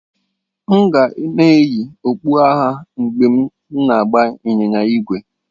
M ga na-eyi okpu agha mgbe m na-agba ịnyịnya ígwè.